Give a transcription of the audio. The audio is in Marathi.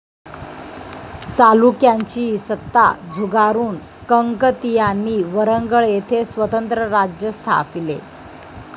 चालुक्यांची सत्ता झुगारून कंकतीयांनी वरंगळ येथे स्वतंत्र राज्य स्थापले.